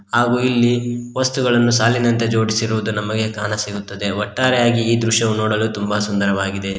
ಹಾಗು ಇಲ್ಲಿ ವಸ್ತುಗಳನ್ನು ಸಾಲಿನಂತೆ ಜೋಡಿಸಿರುವುದನ್ನು ನಮಗೆ ಕಾಣಸಿಗುತ್ತದೆ ಒಟ್ಟಾರೆಯಾಗಿ ಈ ದೃಶ್ಯವು ನೋಡಲು ತುಂಬಾ ಸುಂದರವಾಗಿದೆ.